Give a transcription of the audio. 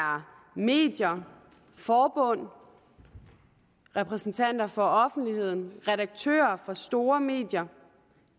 medier forbund repræsentanter for offentligheden redaktører for store medier